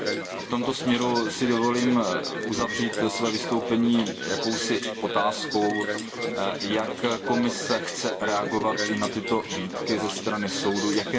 A v tomto směru si dovolím uzavřít své vystoupení otázkou Jak Komise chce reagovat i na tyto výtky ze strany Soudního dvora?